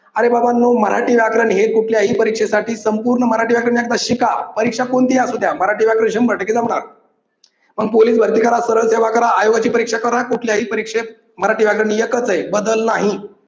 अरे बाबांनो मराठी व्याकरण हे कुठल्याही परीक्षेसाठी संपूर्ण मराठी व्याकरण एकदा शिका परीक्षा कोणती असू द्या मराठी व्याकरण शंभर टक्के जमणार. मग पोलीस भर्ती करा, सरळ सेवा करा, आरोग्याची परीक्षा करा, कुठल्याही परीक्षेत मराठी व्याकरण एकच आहे बदल नाही.